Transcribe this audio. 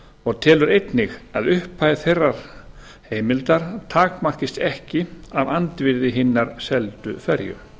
og telur einnig að upphæð þeirrar heimildar takmarkist ekki af andvirði hinnar seldu ferju